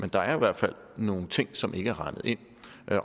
der i hvert fald nogle ting som ikke er regnet ind